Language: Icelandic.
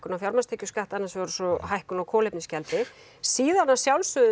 á fjármagnstekjuskatt annars vegar og svo hækkun á kolefnisgjaldi síðan að sjálfsögðu